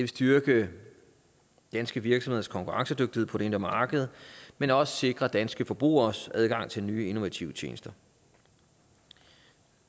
styrke danske virksomheders konkurrencedygtighed på det indre marked men også sikre danske forbrugeres adgang til nye innovative tjenester